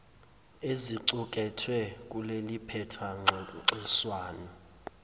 ezicukethwe kuleliphepha ngxoxiswano